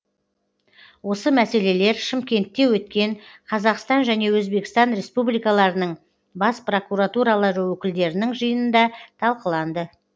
осы мәселелер шымкентте өткен қазақстан және өзбекстан республикаларының бас прокуратуралары өкілдерінің жиынында талқыланды